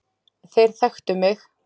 Þeir þekktu mig.